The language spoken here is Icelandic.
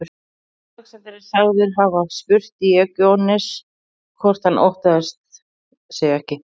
Alexander er sagður hafa spurt Díógenes hvort hann óttaðist sig ekki.